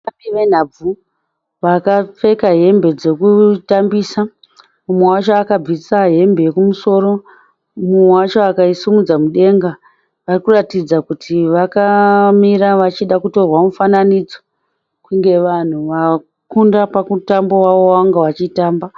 Vatambi venhabvu vakapfeka hembe dzekutambisa. Umwe wacho akabvisa hembe yekumusoro umwe wacho akaisimudza mudenga. Varikuratidza kuti vakamira vachida kutorwa mufananidzo, kunge vanhu vakunda pamutambo wavo wavanga vachitamba.